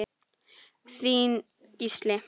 Þinn Gísli.